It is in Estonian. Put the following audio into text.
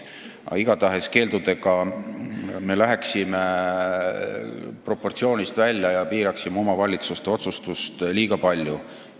Igatahes keeldudega me läheksime proportsioonist välja ja piiraksime omavalitsuste otsustust liiga palju.